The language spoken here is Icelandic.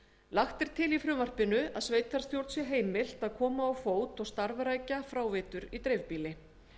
lagt er til í frumvarpinu að sveitarstjórn sé heimilt að koma á fót og starfrækja fráveitur í dreifbýli